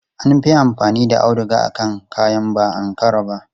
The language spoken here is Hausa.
An fi amfani da auduga akan kayan ba Ankara ba.